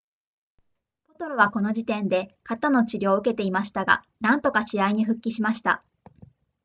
ポトロはこの時点で肩の治療を受けていましたがなんとか試合に復帰しました